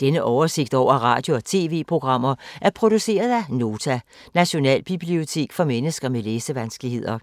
Denne oversigt over radio og TV-programmer er produceret af Nota, Nationalbibliotek for mennesker med læsevanskeligheder.